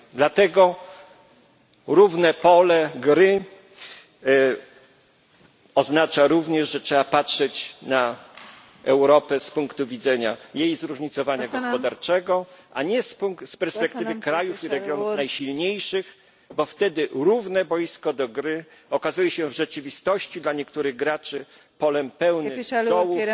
Dlatego równe pole gry oznacza również, że trzeba patrzeć na Europę z punktu widzenia jej zróżnicowania gospodarczego, a nie z perspektywy krajów i regionów najsilniejszych, bo wtedy równe boisko do gry okazuje się w rzeczywistości dla niektórych graczy polem pełnym dołów i